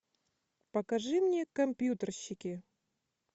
покажи мне компьютерщики